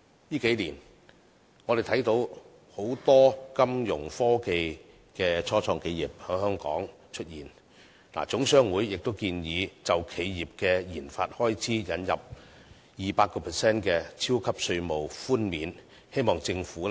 近數年，我們看到很多金融科技初創企業在香港出現，總商會建議就企業的研發開支引入 200% 的超級稅務寬免，希望政府